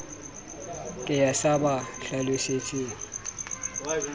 ke ya sa ba hlalosetseng